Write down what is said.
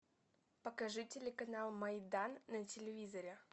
покажи телеканал майдан на телевизоре